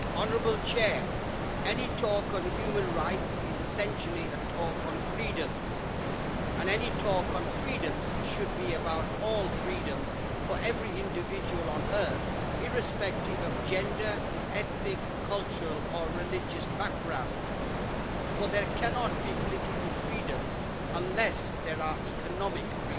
Mr President, any talk on human rights is essentially a talk on freedoms, and any talk on freedoms should be about all freedoms for every individual on Earth irrespective of gender, ethnic, cultural or religious background for there cannot be political freedoms unless there are economic freedoms.